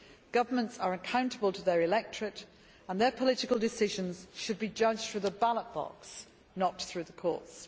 Governments are accountable to their electorates and their political decisions should be judged through the ballot box, not through the courts.